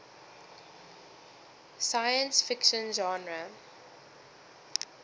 science fiction genre